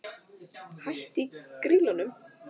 Hætt í Grýlunum?